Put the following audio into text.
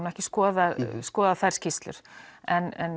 ekki skoðað skoðað þær skýrslur en